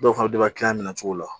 Dɔw fana minɛ cogo la